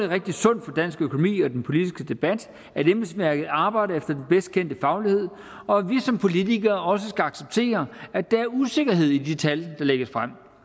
rigtig sundt for dansk økonomi og den politiske debat at embedsværket arbejder efter den bedst kendte faglighed og at vi som politikere også skal acceptere at der er usikkerhed i de tal der lægges frem